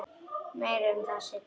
Meira um það seinna.